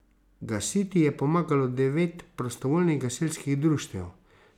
Gasiti je pomagalo devet prostovoljnih gasilskih društev.